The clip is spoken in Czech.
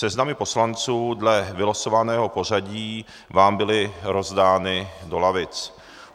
Seznamy poslanců dle vylosovaného pořadí vám byly rozdány do lavic.